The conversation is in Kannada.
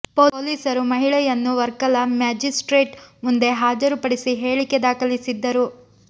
ಪೊಲೀಸರು ಮಹಿಳೆಯನ್ನು ವರ್ಕಲ ಮ್ಯಾಜಿಸ್ಟ್ರೇಟ್ ಮುಂದೆ ಹಾಜರು ಪಡಿಸಿ ಹೇಳಿಕೆ ದಾಖಲಿಸಿದ್ದರು